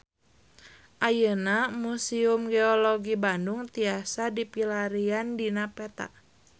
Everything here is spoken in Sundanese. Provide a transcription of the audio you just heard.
Ayeuna Museum Geologi Bandung tiasa dipilarian dina peta